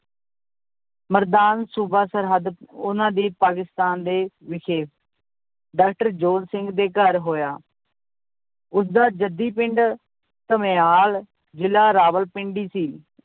ਮਰਦਾਨ ਸੂਬਾ ਸਰਹੱਦ, ਉਹਨਾਂ ਦੇ ਪਾਕਿਸਤਾਨ ਦੇ ਵਿਖੇ doctor ਜੋਧ ਸਿੰਘ ਦੇ ਘਰ ਹੋਇਆ ਉਸਦਾ ਜੱਦੀ ਪਿੰਡ ਧਮਿਆਲ ਜ਼ਿਲ੍ਹਾ ਰਾਵਲਪਿੰਡੀ ਸੀ।